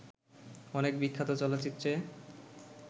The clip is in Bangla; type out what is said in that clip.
অনেক বিখ্যাত চলচ্চিত্রে